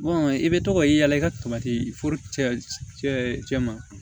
i bɛ to ka yaala i ka ma